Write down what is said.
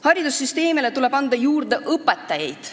Haridussüsteemile tuleb anda juurde õpetajaid.